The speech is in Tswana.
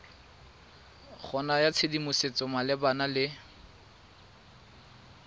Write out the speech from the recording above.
go naya tshedimosetso malebana le